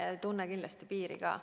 Ja ta ei tunne kindlasti piiri ka.